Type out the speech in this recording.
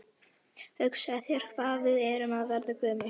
Gabbró, þunnsneið af hnyðlingi úr Eldfelli á Heimaey.